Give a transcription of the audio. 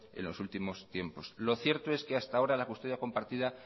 en los últimos tiempos lo cierto es que hasta ahora la custodia compartida